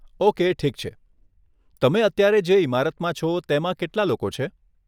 Okay, ઠીક છે, તમે અત્યારે જે ઈમારતમાં છો તેમાં કેટલા લોકો છે?